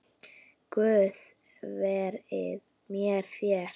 Guð veri með þér.